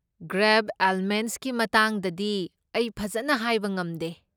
ꯒ꯭ꯔꯥꯦꯕ ꯑꯦꯜꯃꯦꯟꯠꯁꯀꯤ ꯃꯇꯥꯡꯗꯗꯤ ꯑꯩ ꯐꯖꯟꯅ ꯍꯥꯏꯕ ꯉꯝꯗꯦ꯫